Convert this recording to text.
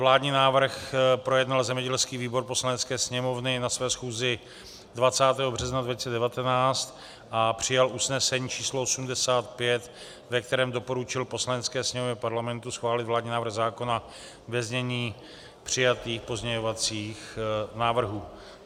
Vládní návrh projednal zemědělský výbor Poslanecké sněmovny na své schůzi 20. března 2019 a přijal usnesení číslo 85, ve kterém doporučil Poslanecké sněmovně Parlamentu schválit vládní návrh zákona ve znění přijatých pozměňovacích návrhů.